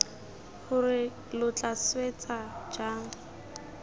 gore lo tla swetsa jang